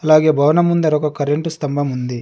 అలాగే భవనం ముందర ఒక కరెంటు స్తంభం ఉంది.